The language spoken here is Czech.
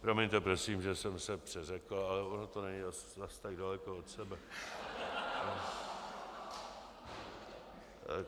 Promiňte prosím, že jsem se přeřekl, ale ono to není zase tak daleko od sebe.